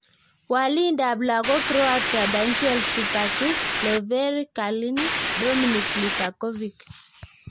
Walindab lagok Croatia: Danijel Subasic , Lovre Kalinic , Dominik Livakovic .